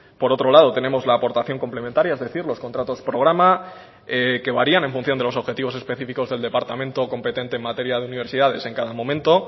por otro lado tenemos la aportación complementaria es decir los contratos programa que varían en función de los objetivos específicos del departamento competente en materia de universidades en cada momento